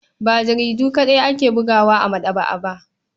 Ba jaridu kaɗai ake bugawa a maɗaba'a ba.